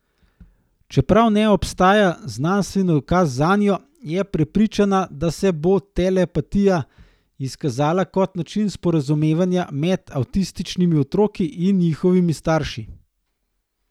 Čeprav ne obstaja znanstveni dokaz zanjo, je prepričana, da se bo telepatija izkazala kot način sporazumevanja med avtističnimi otroki in njihovimi starši.